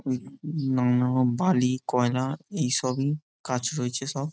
উম নম্র বালি কয়লা এইসবই কাচ রয়েছে সব ।